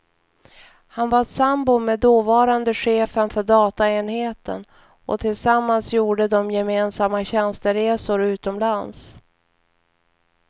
Han var sambo med dåvarande chefen för dataenheten, och tillsammans gjorde de gemensamma tjänsteresor utomlands.